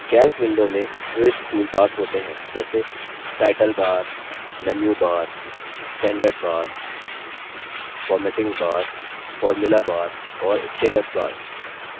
calc window में विविध toolbars होते हैं जैसेटाइटल bar menu bar standard bar formatting bar formula bar और status bar